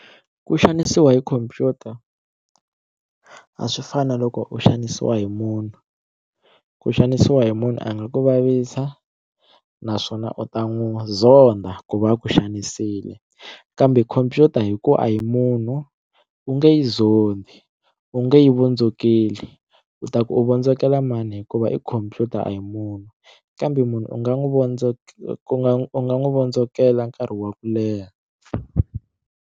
Ku xanisiwa hi khompyuta a swi fani na loko u xanisiwa hi munhu ku xanisiwa hi munhu a nga ku vavisa naswona u ta n'wi zonda ku va ku xanisile kambe khompyuta hi ku a hi munhu u nge yi zondi u nge yi vondzokeli u ta ku u vondzokela mani hikuva i khomphyuta a hi munhu kambe munhu u nga n'wi ku nga u nga n'wi vondzokela nkarhi wa ku leha.